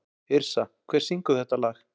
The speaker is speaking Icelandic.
Yrsa, hver syngur þetta lag?